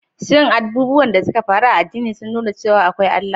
Shin abubuwan da suka faru a addini sun nuna cewa akwai Allah?